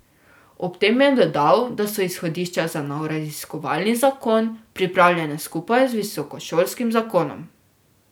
Ob tem je dodal, da so izhodišča za nov raziskovalni zakon pripravljena skupaj z visokošolskim zakonom.